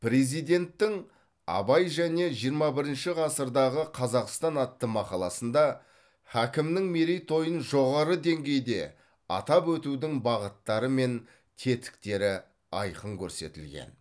президенттің абай және жиырма бірінші ғасырдағы қазақстан атты мақаласында хакімнің мерейтойын жоғары деңгейде атап өтудің бағыттары мен тетіктері айқын көрсетілген